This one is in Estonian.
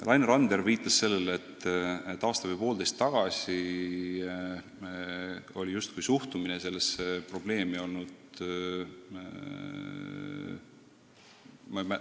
Laine Randjärv viitas sellele, et aasta või poolteist tagasi justkui ei suhtutud sellesse probleemi tõsiselt.